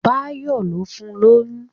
Báyọ̀ ló fun lóyún